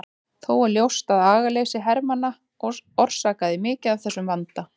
Þó er ljóst að agaleysi hermanna orsakaði mikið af þessum vanda.